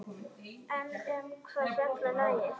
En um hvað fjallar lagið?